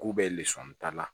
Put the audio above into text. K'u bɛ lisɔn ta